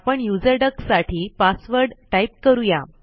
आपण user duck साठी password type करूया